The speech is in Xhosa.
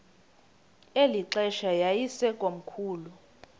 eli xesha yayisekomkhulu